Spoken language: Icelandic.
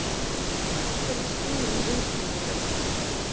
Af hverju skín hún viðstöðulaust?